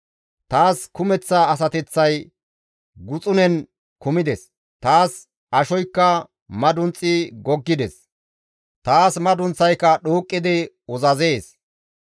Taas kumeththa asateththay guxunen kumides; taas ashoykka madunxi goggides; taas madunththayka dhuuqqidi uzazees.